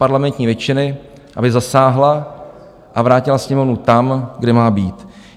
- parlamentní většiny, aby zasáhla a vrátila Sněmovnu tam, kde má být.